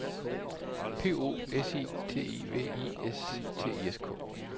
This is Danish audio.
P O S I T I V I S T I S K